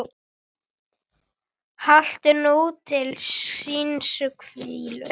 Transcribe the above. Haltu nú til hinstu hvílu.